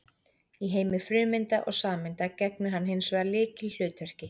Í heimi frumeinda og sameinda gegnir hann hins vegar lykilhlutverki.